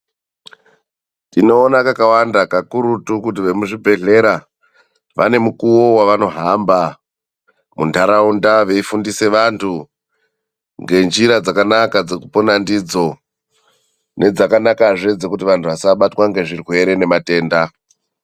Tinoona kakawanda kakurutu kuti vemuzvibhedhlera vane mukuwo wavanohamba mundaraunda veifundisa vandu ngenjira dzakanaka dzekupona ndidzo, nedzakanakazve dzekuti vandu vasabatwa nezvirwere nematenda.